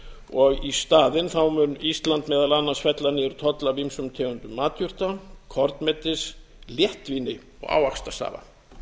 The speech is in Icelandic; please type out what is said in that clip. og í staðinn mun ísland meðal annars fella niður toll af ýmsum tegundum matjurta kornmetis léttvíni og ávaxtasafa